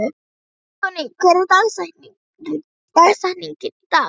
Anthony, hver er dagsetningin í dag?